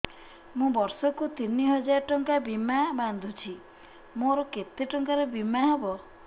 ମୁ ବର୍ଷ କୁ ତିନି ହଜାର ଟଙ୍କା ବୀମା ବାନ୍ଧୁଛି ମୋର କେତେ ଟଙ୍କାର ବୀମା ହବ